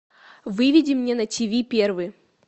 выведи мне на тв первый